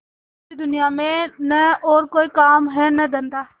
मुझे दुनिया में न और कोई काम है न धंधा